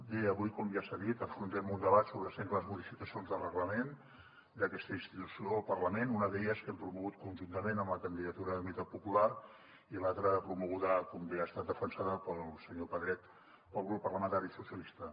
bé avui com ja s’ha dit afrontem un debat sobre sengles modificacions del reglament d’aquesta institució del parlament una d’elles que hem promogut conjuntament amb la candidatura d’unitat popular i l’altra promoguda com bé ha estat defensada pel senyor pedret pel grup parlamentari socialistes